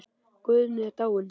Guðni er dáinn.